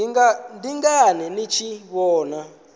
ndi ngani ni tshi vhona